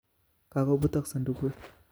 Kakobutok sodukut